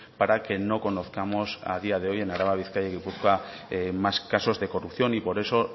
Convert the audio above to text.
para que no conozcamos a día de hoy en araba bizkaia y gipuzkoa más casos de corrupción y por eso